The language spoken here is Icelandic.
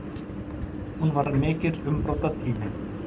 Hún var mikill umbrotatími.